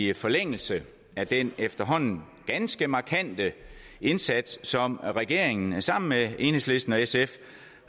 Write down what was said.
i forlængelse af den efterhånden ganske markante indsats som regeringen sammen med enhedslisten og sf